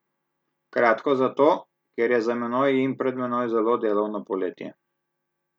Kratko zato, ker je za menoj in pred menoj zelo delovno poletje.